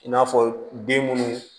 I n'a fɔ den munnu